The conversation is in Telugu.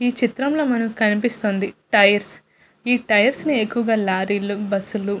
ఈ చిత్రం లో మనకి కనిపిస్తుంది టైర్స్ . ఈ టైర్ నీ ఎక్కువుగా లారీ లు బస్ లు--